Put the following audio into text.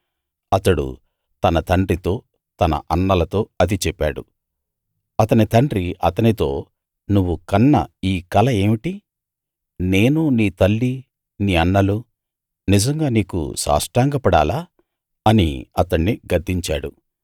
అతడు తన తండ్రితో తన అన్నలతో అది చెప్పాడు అతని తండ్రి అతనితో నువ్వు కన్న ఈ కల ఏమిటి నేనూ నీ తల్లీ నీ అన్నలూ నిజంగా నీకు సాష్టాంగపడాలా అని అతణ్ణి గద్దించాడు